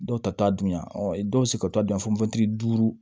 Dɔw ta t'a dunya ɔ dɔw be se ka taa dun yan fɔ duuru